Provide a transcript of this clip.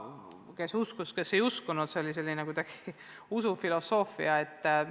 Kes uskus, kes ei uskunud – see oli kuidagi selline usufilosoofiline küsimus.